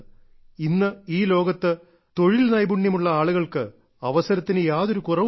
ഇന്ന് ഈ ലോകത്ത് തൊഴിൽ നൈപുണ്യമുള്ള ആളുകൾക്ക് അവസരത്തിന് യാതൊരു കുറവുമില്ല